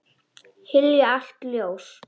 Hylja allt ljós.